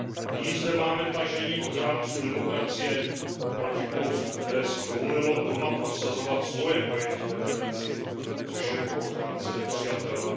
Nyní zde máme tažení ochránců demokracie proti Polsku, které si dovolilo doma prosazovat svoje pojetí demokracie, což je pro ochránce nepřijatelné.